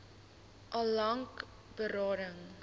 al lank berading